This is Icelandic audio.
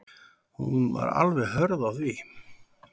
Hún var alveg hörð á því.